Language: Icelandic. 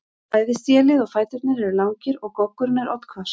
Bæði stélið og fæturnir eru langir og goggurinn er oddhvass.